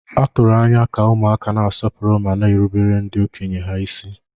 A tụrụ anya ka ụmụaka na-asọpụrụ ma na-erubere ndị okenye ha isi.